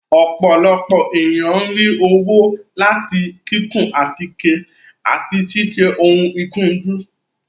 Ọ́pọlọpọ eniyan n ri owo lati kikun atike ati siṣe oun ikunju